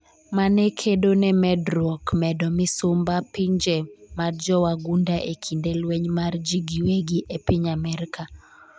mane kedo ne medruok medo misumba pinje mad jowagunda e kinde lweny mar jii giwegi e piny Amerka